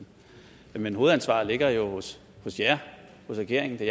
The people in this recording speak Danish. men hovedansvaret ligger jo hos jer hos regeringen det